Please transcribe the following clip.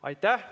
Aitäh!